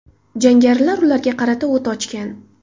Jangarilar ularga qarata o‘t ochgan.